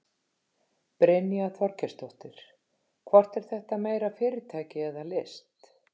Brynja Þorgeirsdóttir: Hvort er þetta meira fyrirtæki eða list?